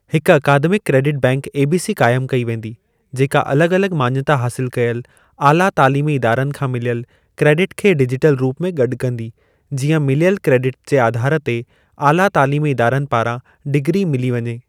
हिक academic credit bank ABC क़ाइमु कई वेंदी, जेका अलॻि अलॻि माञता हासिल कयल आला तालीमी इदारनि खां मिलियल क्रेडिट खे डिजिटल रूप में गॾु कंदी, जीअं मिलियल क्रेडिट जे आधार ते आला तालीमी इदारनि पारां डिग्री मिली वञे।